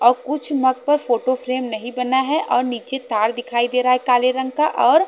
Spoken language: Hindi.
और कुछ मतलब फोटो फ्रेम नहीं बना है और नीचे तार दिखाई दे रहा है काले रंग का और--